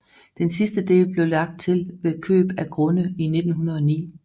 Den sidste del blev lagt til ved køb af grunde i 1909